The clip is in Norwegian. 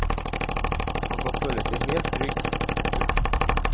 Han kan føle seg helt trygg. punktum